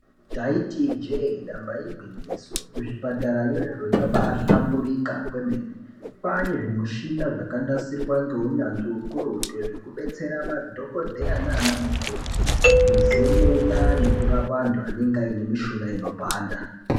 Taiti ijee damba igwinyiso, kuzvipatarayo zviro zvabaahlamburika kwemene. Kwaane zvimuchina zvakanasirwa neunyanzvi hukurutu zvekudetsera madhogodheya naana mukoti kuzemena antu anenga aine mishuna inipanda.